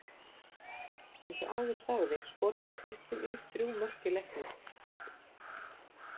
Eins og áður sagði skoraði Kristín Ýr þrjú mörk í leiknum.